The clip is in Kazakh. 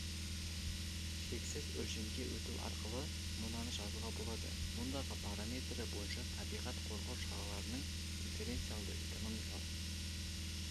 шексіз өлшемге өту арқылы мынаны жазуға болады мұндағы параметрі бойынша табиғат қорғау шараларының дифференциалды экономикалық